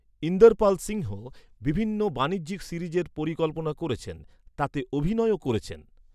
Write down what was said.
ইন্দরপাল সিংহ বিভিন্ন বাণিজ্যিক সিরিজের পরিকল্পনা করেছেন। তাতে অভিনয়ও করেছেন।